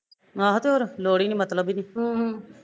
ਆਹੋ ਤੇ ਹੋਰ ਲੋੜ ਈ ਨੀ ਮਤਲਬ ਨੀ ਅਹ